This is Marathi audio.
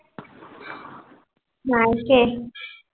नाही